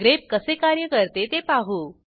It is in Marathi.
ग्रेप कसे कार्य करते ते पाहू